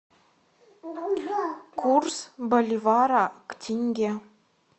курс боливара к тенге